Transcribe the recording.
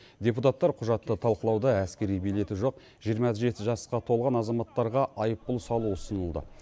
депутаттар құжатты талқылауда әскери билеті жоқ жиырма жеті жасқа толған азаматтарға айыппұл салу ұсынылды